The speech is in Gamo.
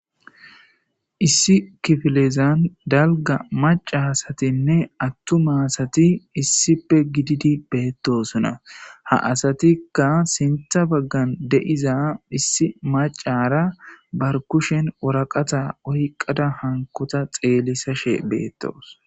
issi kifilezan dalga maca asatinne attuma asati issipe gididi beettosunna ha asatikka sintha baggan deiza issi macara bar kushen woraqata oyqada hankota xeelisashe beettoos